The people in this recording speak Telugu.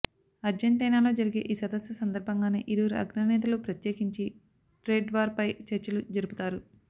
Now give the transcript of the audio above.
అర్జంటైనాలో జరిగే ఈసదస్సు సందర్భంగానే ఇరువురు అగ్రనేతలు ప్రత్యేకించి ట్రేడ్వార్ పై చర్చలుజరుపుతారు